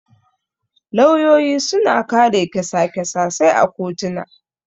Lauyoyi suna kare kyasa-kysasai a kotuna.